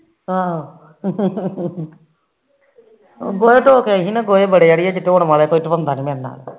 ਆਹੋ ਗੋਹੇ ਧੋ ਕੇ ਆਈ ਸੀ ਅੜੀਏ